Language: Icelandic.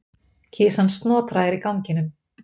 Kisan Snotra er í ganginum.